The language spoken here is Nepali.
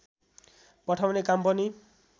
पठाउने काम पनि